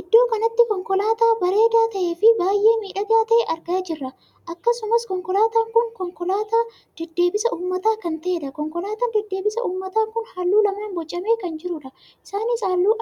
Iddoo kanatti konkolaataa bareedaa tahee fi baay'ee miidhagaa tahe argaa jirra. akkasumas konkolaataan kun konkolaataa deddeebisa uummataa kan tahedha. konkolaataan deddeebisa uummataa kun halluu lamaan bocamee kan jirudha. isaanis halluu